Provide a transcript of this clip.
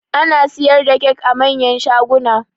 Ana siyar da kyak a manyan shaguna